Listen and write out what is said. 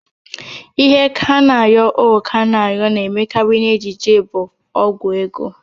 Ihe Kanayo O Kanayo na-emekarị n'ejije bụ Ọgwụ ego